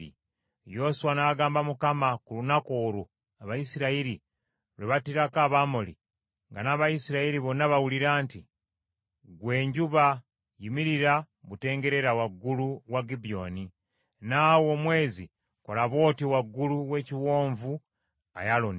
Yoswa n’agamba Mukama ku lunaku olwo Abayisirayiri lwe battirako Abamoli, nga n’Abayisirayiri bonna bawulira nti, “Ggwe enjuba, yimirira butengerera waggulu wa Gibyoni, naawe omwezi kola bw’otyo waggulu w’ekiwonvu Ayalooni.”